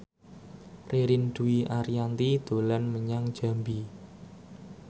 Ririn Dwi Ariyanti dolan menyang Jambi